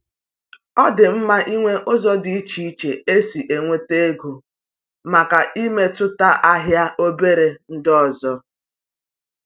Ọ dị mma ịnwe ụzọ dị iche iche esi enweta ego màkà imetụta ahịa obere ndị ọzọ